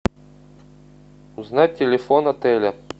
узнать телефон отеля